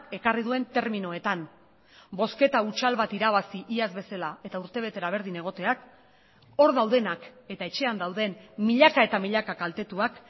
ekarri duen terminoetan bozketa hutsal bat irabazi iaz bezala eta urtebetera berdin egoteak hor daudenak eta etxean dauden milaka eta milaka kaltetuak